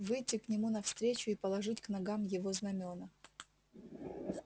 выдти к нему навстречу и положить к ногам его знамёна